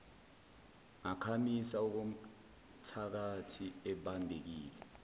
ngakhamisa okomthakathi ebambekile